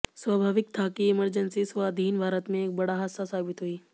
स्वाभाविक था कि इमरजेंसी स्वाधीन भारत में एक बड़ा हादसा साबित हुई